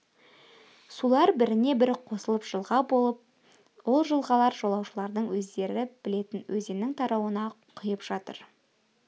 сулар біріне бірі қосылып жылға болып ол жылғалар жолаушылардың өздері білетін өзеннің тарауына құйып жатыр